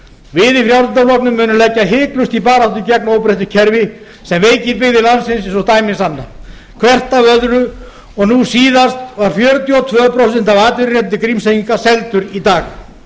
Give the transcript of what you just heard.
við í frjálslynda flokknum munum leggja hiklaust í baráttu gegn óbreyttu kerfi sem veikir byggðir landsins eins og dæmin sanna hvert af öðru og nú síðast voru fjörutíu og tvö prósent af atvinnurétti grímseyinga seld í dag